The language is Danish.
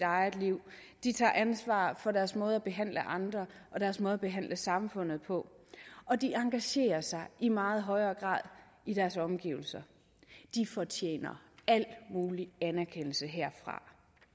eget liv de tager ansvar for deres måde at behandle andre og deres måde at behandle samfundet på og de engagerer sig i meget højere grad i deres omgivelser de fortjener al mulig anerkendelse herfra